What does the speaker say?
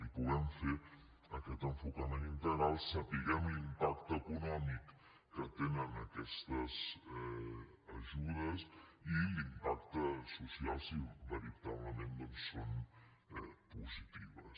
que hi puguem fer aquest enfocament integral i sapiguem l’impacte econòmic que tenen aquestes ajudes i l’impacte social si veritablement doncs són positives